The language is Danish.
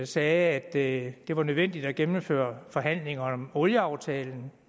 sagde at det var nødvendigt at gennemføre forhandlingerne om olieaftalen